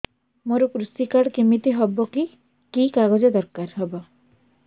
ମୋର କୃଷି କାର୍ଡ କିମିତି ହବ କି କି କାଗଜ ଦରକାର ହବ